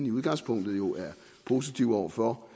i udgangspunktet jo er positiv over for